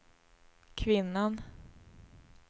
kvinnan